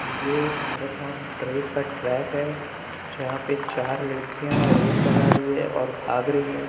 ये एक marathon race का ट्रैक है जहाँ पे चार लड़कियां रेस लगा रही है और भाग रही है।